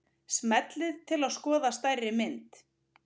Smellið til að skoða stærri mynd.